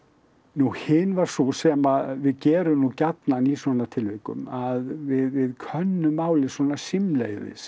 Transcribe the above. nú hin var sú sem við gerum nú gjarnan í svona tilvikum að við könnum málið svona símleiðis